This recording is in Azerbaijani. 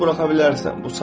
İncili buraxa bilərsən.